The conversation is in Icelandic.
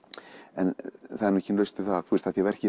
en það er ekki laust við það af því verkið